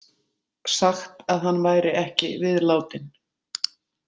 Sagt að hann væri ekki viðlátinn.